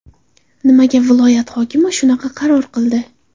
Nimaga viloyat hokimi shunaqa qaror qildi?